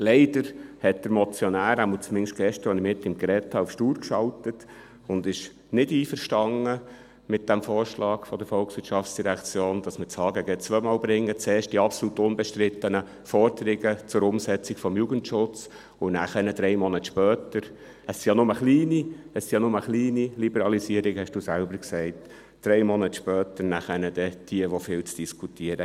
Leider hat der Motionär – mindestens gestern, als ich mit ihm darüber gesprochen habe – auf stur geschaltet und ist nicht einverstanden mit dem Vorschlag der VOL, dass wir das HGG zweimal bringen: zuerst die absolut unbestrittenen Forderungen zur Umsetzung des Jugendschutzes und drei Monate später jene, die viel zu Diskutieren geben – es sind ja nur kleine Liberalisierungen, das hat Adrian Haas selber gesagt.